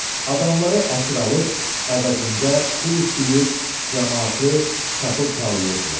Adamları əsir alıb, əvəzində pul istəyir, camaatı çapıb talayırdılar.